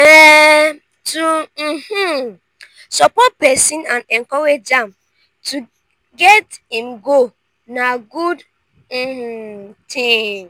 um to um support pesin and encourage am to get im goal na good um ting.